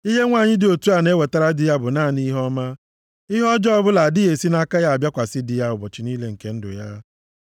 Ihe nwanyị dị otu a na-ewetara di ya bụ naanị ihe ọma. Ihe ọjọọ ọbụla adịghị esi nʼaka ya abịakwasị di ya ụbọchị niile nke ndụ ya.